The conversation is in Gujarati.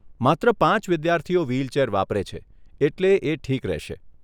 માત્ર પાંચ વિદ્યાર્થીઓ વ્હીલચેર વાપરે છે, એટલે એ ઠીક રહેશે.